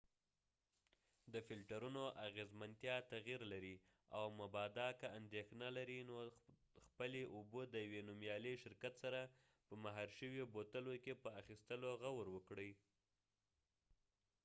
د فلټرونو اغېزمنتیا تغیر لري او مبادا که اندېښنه لرئ نو خپلې اوبه د یوې نومیالي شرکت سره په مهرشویو بوتلو کې په اخستلو غور وکړئ